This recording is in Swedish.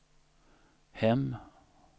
hem